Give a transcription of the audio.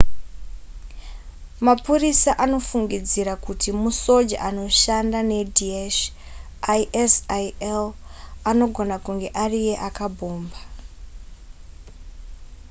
mapurisa anofungidzira kuti musoja anoshanda nedaesh isil anogona kunge ariye akabhomba